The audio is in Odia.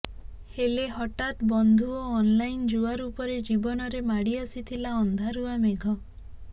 ହେଲେ ହଠାତ୍ ବନ୍ଧୁ ଓ ଅନଲାଇନ୍ ଜୁଆ ରୂପରେ ଜୀବନରେ ମାଡିଆସିଥିଲା ଅନ୍ଧାରୁଆ ମେଘ